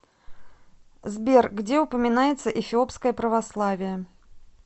сбер где упоминается эфиопское православие